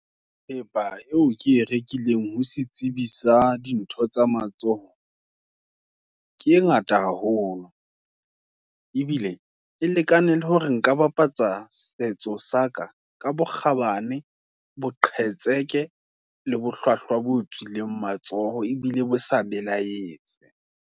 Thepa eo ke e rekileng, ho se tsebi, sa dintho tsa matsoho, ke e ngata haholo, ebile e lekane hore nka bapatsa, setso saka, ka bokgabane, boqhetseke, le bohlwahlwa bo tswileng matsoho, ebile bo sa belaetse.